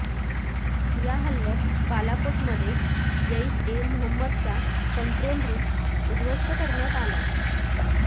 या हल्ल्यात बालाकोटमध्ये जैश ए मोहम्मदचा कंट्रोल रुम उद्ध्वस्त करण्यात आलाय